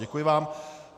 Děkuji vám.